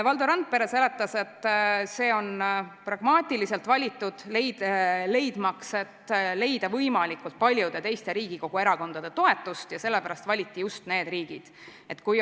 Valdo Randpere seletas, et see on pragmaatiliselt valitud, et leida võimalikult paljude teiste Riigikogu erakondade toetust, ja sellepärast valiti just need riigid.